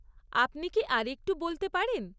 আপনি কি আর একটু বলতে পারেন?